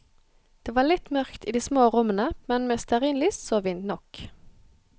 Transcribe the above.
Det var litt mørkt i de små rommene, men med stearinlys så vi nok.